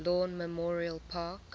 lawn memorial park